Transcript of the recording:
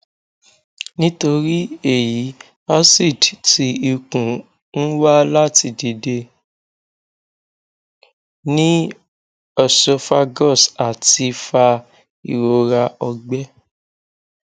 nitori eyi acid ti ikun n wa lati dide ni esophagus ati fa irora ọgbẹ